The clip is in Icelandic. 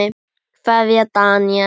Kveðja, Daníel.